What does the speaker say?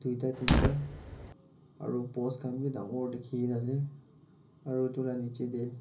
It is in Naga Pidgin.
tuita teenta aro post khan bi dangor dikhina ase aru edu la nichae tae.--